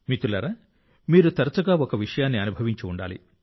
మిత్రులారా మీరు తరచుగా ఒక విషయాన్ని అనుభవించి ఉండాలి